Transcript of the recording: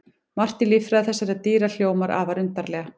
Margt í líffræði þessara dýra hljómar afar undarlega.